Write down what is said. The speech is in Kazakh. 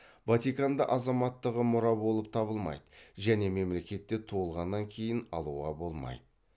ватиканда азаматтығы мұра болып табылмайды және мемлекетте туылғаннан кейін алуға болмайды